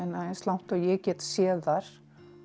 eins langt og ég get séð þær